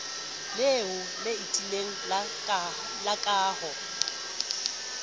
leholo le tiileng la kaho